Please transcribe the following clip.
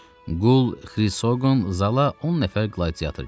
Qul Xrisqon zala 10 nəfər qladiator gətirdi.